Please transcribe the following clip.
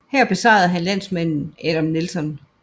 Her besejrede han landsmanden Adam Nelson